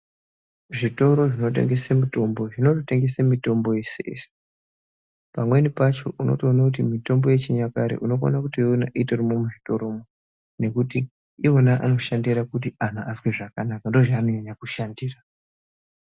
Zvitoro zvinotengese mutombo zvinototengese mitombo yese-yese. Pamweni pacho unotoone kuti mitombo yechinyakare unokona kutoiona itorimwo muzvitoromwo. Nekuti iwo anoshandire kuti anhu azwe zvakanaka, ndoozvaanonyanya kushandira.